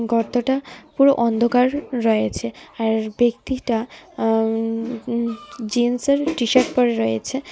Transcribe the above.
গর্তটা পুরো অন্ধকার রয়েছে আর ব্যক্তিটা আ-ম জিন্স এর টি-শার্ট পড়ে রয়েছে.